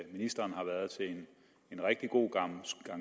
ministeren har været til en rigtig god gang